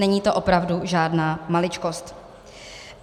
Není to opravdu žádná maličkost.